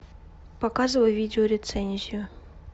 показывай видео рецензию